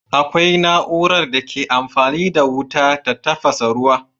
Akwai na'urar da ke amfani da wuta ta tafasa ruwa.